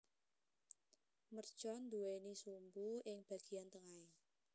Mercon nduwéni sumbu ing bagéyan tengahé